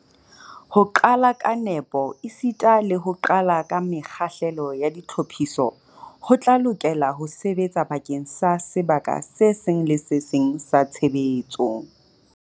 Ho qala ka nepo esita le ho qala ka mekgahlelo ya ditlhophiso ho tla lokela ho sebetsa bakeng sa sebaka se seng le se seng sa tshebetso.